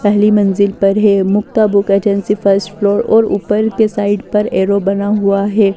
पहली मंजिल पर है Mukta book agency first floor और ऊपर के साइड पर एरो बना हुआ है।